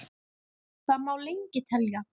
Þannig má lengi telja.